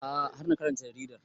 A'a har na karanta jaridar